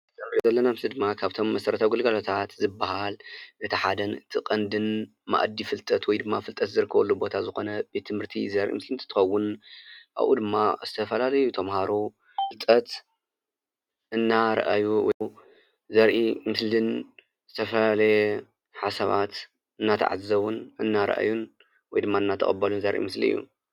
እዚ ንሪኦ ዘለና ምስሊ ድማ ካብቶም መሰረታዊ ግልጋሎታት ዝበሃል እቲ ሓደን እቲ ቀንድን መኣዲ ፍልጠት ወይ ድማ ፍልጠት ዝርከበሉ ቦታ ዝኾነ ቤት ትምህርቲ ዘርኢ ምስሊ እንትኸውን ኣብኡ ድማ ዝተፈላለዩ ተመሃሮ ፍልጠት እናርአዩ ዘርኢ ምስልን ዝተፈላለየ ሓሳባት እናተዓዘቡን እናርአዩን ወይ ድማ እናተቐበሉን ዘርኢ ምስሊ እዩ፡፡